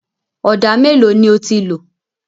Ọ̀dà mélòó ni o ti lò?